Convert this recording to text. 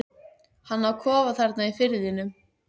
Hann á kofa þarna í firðinum.